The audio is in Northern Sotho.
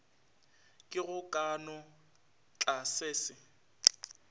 ke go ka no tlasese